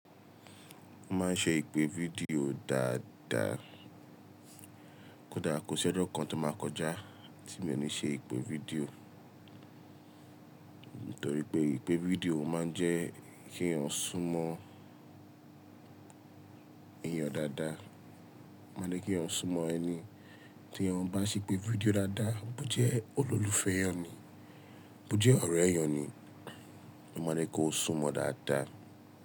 Mo máa ń ṣe ìpè fídíò dáadáa. Kódà kò sí ọjọ́ kan tó máa kọjá tí mi ò ní ṣe ìpè fídíò. Nítorí pé ìpè fídíò máa ń jẹ́ kí èèyàn sún mọ èèyàn dáadáa. O ma n je kí èèyàn sún mọ ẹni tí èèyàn bá ṣe ìpè fídíò dáadáa, bó jẹ́ olólùfẹ́ ẹ ni, bó jẹ́ ọ̀rẹ́ ẹ ni, mo ní kí ó sún mọ dáadáa.